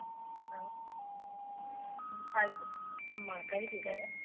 ಆಯ್ತು ಅಮ್ಮ ಕರಿತ್ತಿದ್ದಾರೆ.